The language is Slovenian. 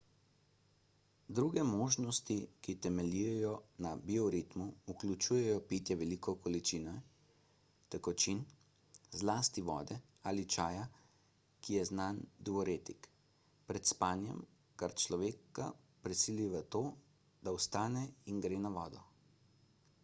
druge možnosti ki temeljijo na bioritmu vključujejo pitje velike količine tekočin zlasti vode ali čaja ki je znan diuretik pred spanjem kar človeka prisili v to da vstane in gre na vodo